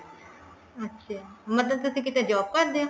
ਅੱਛਾ ਮਤਲਬ ਤੁਸੀਂ ਕਿਤੇ job ਕਰਦੇ ਹੋ